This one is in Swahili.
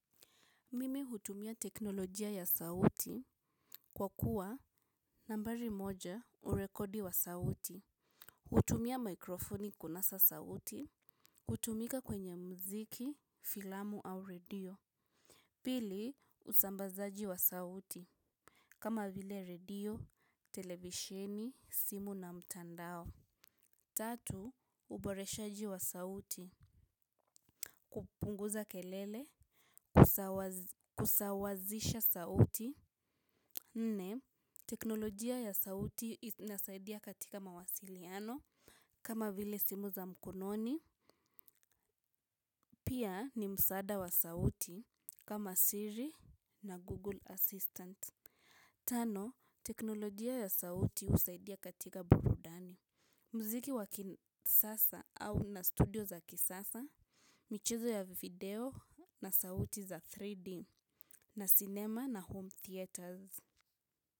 Mimi hutumia teknolojia ya sauti kwa kuwa nambari moja urekodi wa sauti hutumia mikrofoni kunasa sauti kutumika kwenye muziki, filamu au redio pili usambazaji wa sauti kama vile redio, televisheni, simu na mtandao tatu uboreshaji wa sauti kupunguza kelele. Kusawazisha sauti nne teknolojia ya sauti inasaidia katika mawasiliano kama vile simu za mkononi pia ni msaada wa sauti kama siri na Google Assistant. Tano teknolojia ya sauti husaidia katika burudani muziki wa kisasa au na studio za kisasa michezo ya video na sauti za 3D na cinema na home theaters.